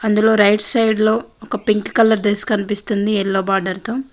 అందులో right side లో ఒక పింక్ కలర్ డ్రెస్ కనిపిస్తుంది ఎల్లో బార్డర్ తో.